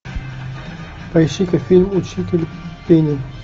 поищи ка фильм учитель пения